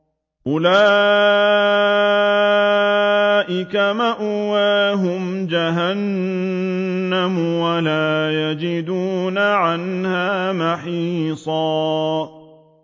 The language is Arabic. أُولَٰئِكَ مَأْوَاهُمْ جَهَنَّمُ وَلَا يَجِدُونَ عَنْهَا مَحِيصًا